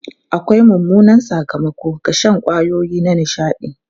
Akwai mummunan sakamako ga shan kwayoyi na nishaɗi.